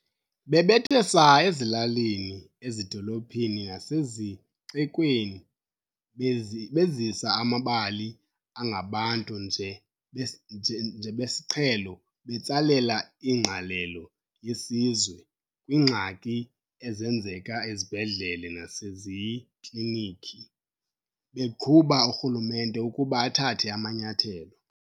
Bebethe saa ezilalini, ezidolophini nasezixekweni, bezisa amabali angabantu nje besiqhelo betsalela ingqalelo yesizwe kwiingxaki ezenzeka ezibhedlele nasezikliniki, beqhuba urhulumente ukuba athathe amanyathelo.